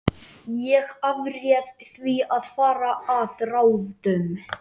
Ég afréð því að fara að ráðum